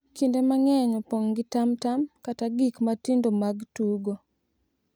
kinde mang’eny opong’ gi tamtam kata gik matindo mag tugo.